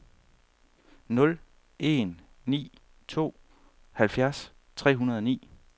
nul en ni to halvfjerds tre hundrede og ni